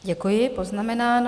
Děkuji, poznamenáno.